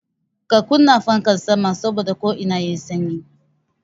Ka kunna fankan sama saboda ko'ina yayi sanyi